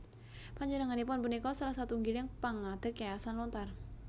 Panjenenganipun punika salah satunggiling pangadeg Yayasan Lontar